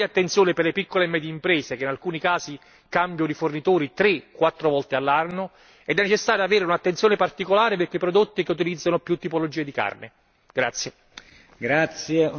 Ecco perché serve una grande attenzione per le piccole e medie imprese, che in alcuni casi cambiano i fornitori tre quattro volte all'anno, ed è necessario avere un'attenzione particolare per i prodotti che utilizzano più tipologie di carne.